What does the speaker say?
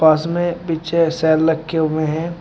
पास में पीछे सेल रखे हुए हैं।